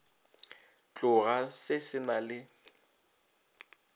tloga se se na le